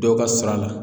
Dɔw ka sara la